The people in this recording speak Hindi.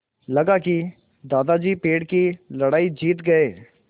लगा कि दादाजी पेड़ की लड़ाई जीत गए